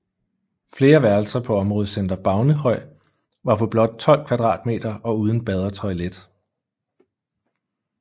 Flere værelser på områdecenter Baunehøj var på blot 12 kvadratmeter og uden bad og toilet